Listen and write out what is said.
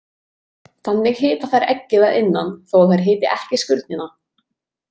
Þannig hita þær eggið að innan þó að þær hiti ekki skurnina.